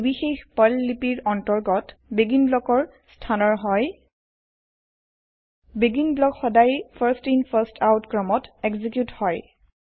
ই নিৰ্বিশেষ পাৰ্ল লিপিৰ অন্তৰ্গত বেগিন ব্লকৰ স্হানৰ হয় বেগিন ব্লক সদায় ফাৰ্ষ্ট ইন ফাৰ্ষ্ট আউট ক্ৰমত এক্সিকিউত হয়